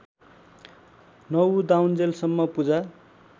नउदाउन्जेल सम्म पूजा